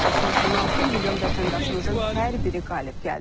86 milyon vətəndaşımızın hər biri qalib gəldi.